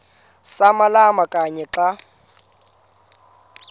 samalama kanye xa